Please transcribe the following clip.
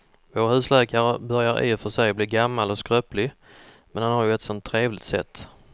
Vår husläkare börjar i och för sig bli gammal och skröplig, men han har ju ett sådant trevligt sätt!